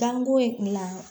Dan go yen na